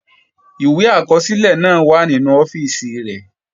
Rẹ́gístrà náà wà nínú ọ́fíìsì rẹ̀